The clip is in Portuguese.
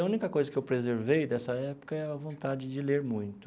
A única coisa que eu preservei dessa época é a vontade de ler muito.